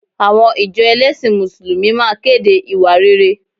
Àwọn ìjọ ẹlẹ́sìn Mùsùlùmí máa kéde ìwà rere